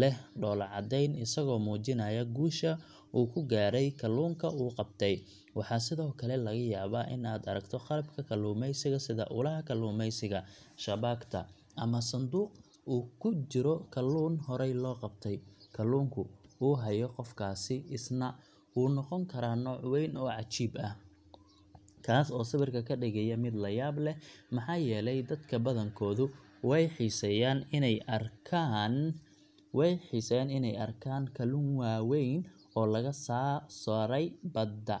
leh dhoolla-caddeyn isagoo muujinaya guusha uu ku gaaray kalluunka uu qabtay. Waxaa sidoo kale laga yaabaa in aad aragto qalabka kalluumaysiga sida ulaha kalluumaysiga, shabaagta, ama sanduuq uu ku jiro kalluun horey loo qabtay. Kalluunku uu hayo qofkaasi isna wuu noqon karaa nooc weyn oo cajiib ah, kaas oo sawirka ka dhigaya mid la yaab leh, maxaa yeelay dadka badankoodu way xiiseeyaan inay arkaan kalluun waaweyn oo laga soo saaray badda.